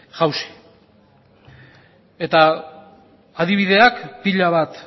jausi eta adibideak pila bat